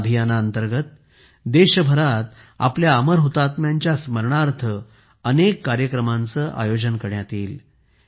ह्या अभियानाअंतर्गत देशभरात आपल्या अमर हुतात्म्यांच्या स्मरणार्थ अनेक कार्यक्रमांचे आयोजन करण्यात येईल